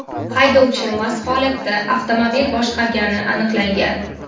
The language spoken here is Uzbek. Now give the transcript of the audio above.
Haydovchi mast holatda avtomobil boshqargani aniqlangan.